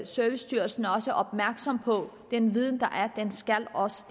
servicestyrelsen også er opmærksom på at den viden der er også